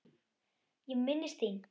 Ég minnist þín.